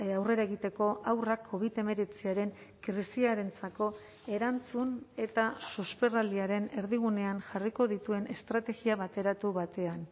aurrera egiteko haurrak covid hemeretziaren krisiarentzako erantzun eta susperraldiaren erdigunean jarriko dituen estrategia bateratu batean